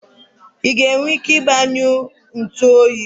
i nwere ike igbanyụ ntu oyi?